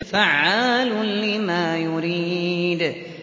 فَعَّالٌ لِّمَا يُرِيدُ